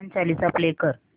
Hanuman Chalisa play कर